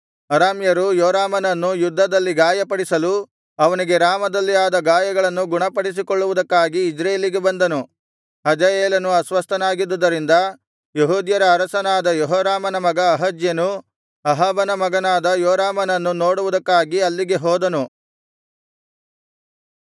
ಅರಾಮ್ಯರು ಯೋರಾಮನನ್ನು ಯುದ್ಧದಲ್ಲಿ ಗಾಯಪಡಿಸಲು ಅವನಿಗೆ ರಾಮದಲ್ಲಿ ಆದ ಗಾಯಗಳನ್ನು ಗುಣಪಡಿಸಿಕೊಳ್ಳುವುದಕ್ಕಾಗಿ ಇಜ್ರೇಲಿಗೆ ಬಂದನು ಹಜಾಯೇಲನು ಅಸ್ವಸ್ಥನಾಗಿದ್ದುದರಿಂದ ಯೆಹೂದ್ಯರ ಅರಸನಾದ ಯೆಹೋರಾಮನ ಮಗ ಅಹಜ್ಯನು ಅಹಾಬನ ಮಗನಾದ ಯೋರಾಮನನ್ನು ನೋಡುವುದಕ್ಕಾಗಿ ಅಲ್ಲಿಗೆ ಹೋದನು